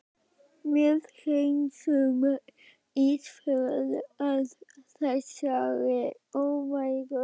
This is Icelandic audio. Við hreinsum Ísafjörð af þessari óværu!